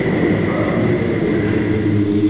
और काफी सारे पोस्टर भी लगे हुए--